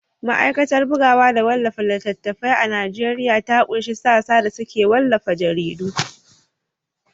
Masana’antar bugawa da wallafa littattafai a Najeriya ta ƙunshi sassa da suke wallafa jaridu.